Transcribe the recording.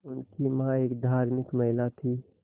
उनकी मां एक धार्मिक महिला थीं